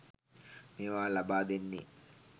මේවා ලබා දෙන්නේ.